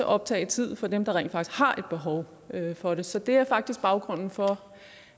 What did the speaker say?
optage tid for dem der rent faktisk har behov for det så det er faktisk baggrunden for